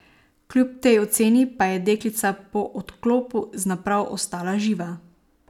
Kljub tej oceni pa je deklica po odklopu z naprav ostala živa.